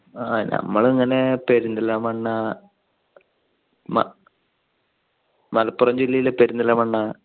ഞങ്ങൾ ഇങ്ങനെ പെരുന്തൽമണ്ണ മലപ്പുറം ജില്ലയിലെ പെരുന്തൽമണ്ണ